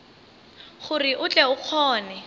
gore o tle o kgone